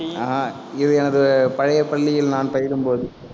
ஆஹ் அஹ் இது எனது பழைய பள்ளியில் நான் பயிலும் போது.